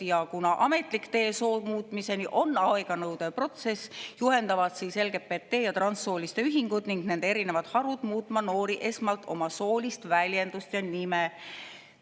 Ja kuna ametlik tee soomuutmiseni on aeganõudev protsess, juhendavad LGBT- ja transsooliste ühingud ning nende erinevad harud muutma noori esmalt oma soolist väljendust ja nime.